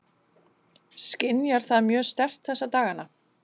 Skynjar það mjög sterkt þessa dagana?